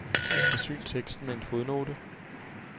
Forsyn teksten med en fodnote.